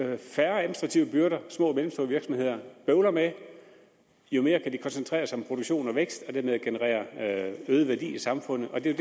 jo færre administrative byrder små og mellemstore virksomheder bøvler med jo mere kan de koncentrere sig om produktion og vækst og dermed generere øget værdi i samfundet og det er